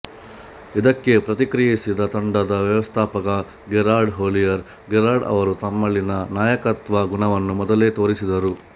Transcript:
ಇದಕ್ಕೆ ಪ್ರತಿಕ್ರಿಯಿಸಿದ ತಂಡದ ವ್ಯವಸ್ಥಾಪಕ ಗೆರಾರ್ಡ್ ಹೊಲ್ಲಿಯರ್ ಗೆರಾರ್ಡ್ ಅವರು ತಮ್ಮಲ್ಲಿನ ನಾಯಕತ್ವ ಗುಣವನ್ನು ಮೊದಲೇ ತೋರಿಸಿದ್ದರು